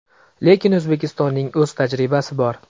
Lekin O‘zbekistonning o‘z tajribasi bor.